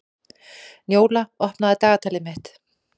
Njóla, opnaðu dagatalið mitt.